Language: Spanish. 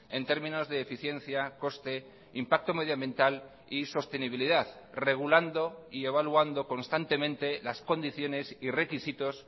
en términos de eficiencia coste impacto medioambiental y sostenibilidad regulando y evaluando constantemente las condiciones y requisitos